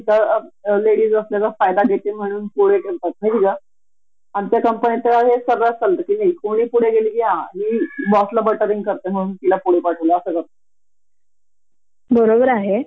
आणि तुला माहीत आहे का? आता कस होत की आय. टी . कंपन्या त्याच्यात तुम्हाला प्रोजेक्ट दिला की प्रोजेक्ट साठी कधी ही बाहेरच्या देशांमध्ये जाऊन रहाव लागत. त्यासाठी कंपलसरी ते मेल कॅन्डीडेट निवडतात